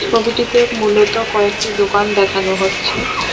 ছবিটিতে মূলত কয়েকটি দোকান দেখানো হচ্ছে ।